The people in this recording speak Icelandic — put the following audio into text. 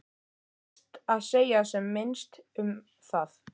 Best að segja sem minnst um það.